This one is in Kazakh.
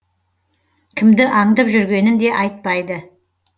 кімді аңдып жүргенін де айтпайды